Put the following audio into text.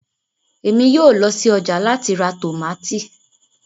Émi yóò lọ si ọja lati ra tomati